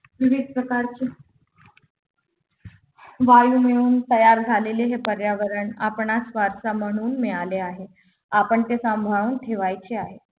विविध विविध प्रकारचे वायू मिळून तयार झालेले हे पर्यावरण आपणास वारसा म्हणून मिळाले आहे आपण ते सांभाळून ठेवायचे आहे